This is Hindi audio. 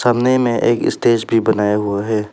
सामने में एक स्टेज भी बनाया हुआ है।